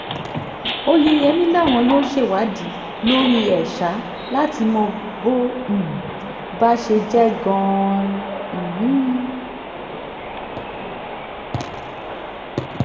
oyeyèmí làwọn yóò ṣèwádìí lórí ẹ̀ ṣá láti mọ bó um bá ṣe jẹ́ gan-an um